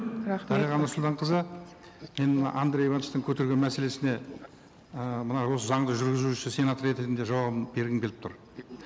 рахмет дариға нұрсұлтанқызы мен мына андрей ивановичтің көтерген мәселесіне ііі мынау осы заңды жүргізуші сенатор ретінде жауабын бергім келіп тұр